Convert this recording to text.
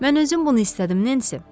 Mən özüm bunu istədim, Nensi.